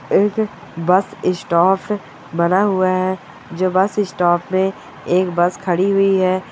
एक bus stop बना हुआ है जो बस स्टॉप में एक बस खड़ी हुई है।